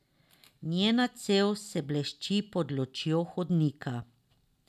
Njena cev se blešči pod lučjo hodnika.